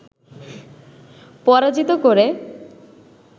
পরাজিত করে